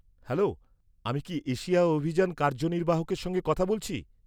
Hello, আমি কি Asia অভিযান কার্যনির্বাহকের সঙ্গে কথা বলছি?